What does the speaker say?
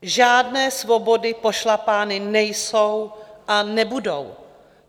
Žádné svobody pošlapávány nejsou a nebudou.